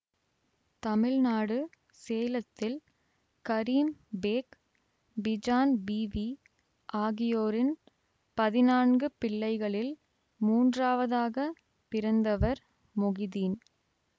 தமிழ்நாடு சேலத்தில் கரீம் பேக் பீஜான் பீவி ஆகியோரின் பதினான்கு பிள்ளைகளில் மூன்றாவதாகப் பிறந்தவர் மொகிதீன்